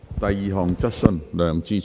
第二項質詢。